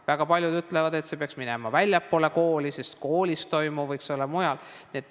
Väga paljud ütlevad, et see peaks minema väljapoole kooli, koolis toimuv võiks olla ka mujal.